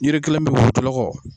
Yiri kelen be yen wulu jɔlɔkɔ.